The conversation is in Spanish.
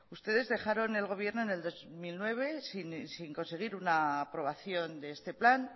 ustedes dejaron el gobierno en el dos mil nueve sin conseguir una aprobación de este plan